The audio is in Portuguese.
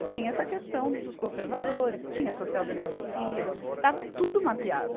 E tinha essa questão dos conservadores, tinha a social-democracia, estava tudo mapeado.